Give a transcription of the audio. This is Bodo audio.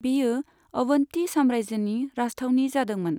बेयो अवन्ती साम्रायजोनि राजथावनि जादोंमोन।